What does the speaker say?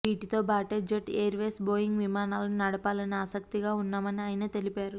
వీటితోబాటే Jet Airways Boeing విమానాలను నడపాలని ఆసక్తిగా ఉన్నామని ఆయన తెలిపారు